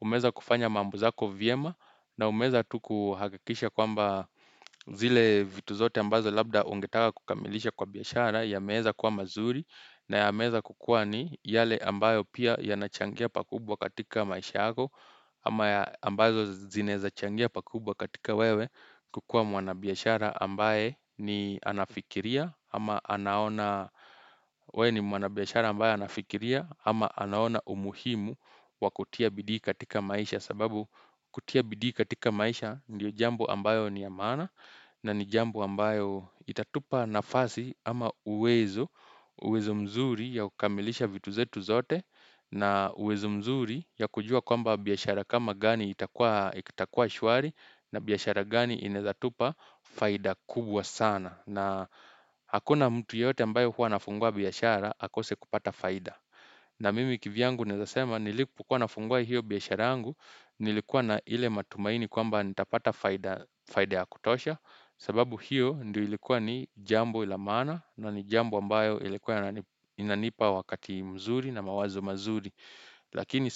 umeza kufanya mambo zako vyema na umeza tu kuhakikisha kwamba zile vitu zote ambazo labda ungetaka kukamilisha kwa biashara yameza kuwa mazuri na yameza kukua ni yale ambayo pia yanachangia pakubwa katika maisha ako ama ambazo zinaeza changia pakubwa katika wewe kukua mwanabiashara ambaye ni anafikilia ama anaona anafikiria ama anaona umuhimu wa kutia bidii katika maisha sababu kutia bidii katika maisha ndiyo jambo ambayo ni yamaana na ni jambo ambayo itatupa nafasi ama uwezo uwezo mzuri ya kukamilisha vitu zetu zote na uwezo mzuri ya kujua kwamba biashara kama gani itakua shwari na biashara gani inaezatupa faida kubwa sana na hakuna mtu yote ambayo hua nafungua biashara akose kupata faida Nna mimi kivyangu nezasema nilikuwa nafungua hiyo biashara angu nilikuwa na ile matumaini kwamba nitapata faida ya kutosha sababu hiyo ndi ilikuwa ni jambo lamana na ni jambo ambayo ilikuwa inanipa wakati mzuri na mawazo mazuri lakini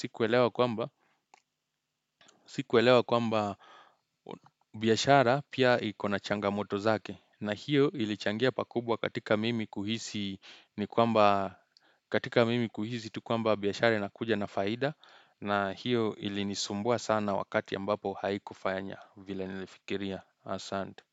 sikwelewa kwamba biashara pia iko na changamoto zake na hiyo ilichangia pakubwa katika mimi kuhisi ni kwamba katika mimi kuhisi tu kwamba biashara inakuja na faida na hiyo ilinisumbua sana wakati ambapo haiku fanya vile nilifikiria asante.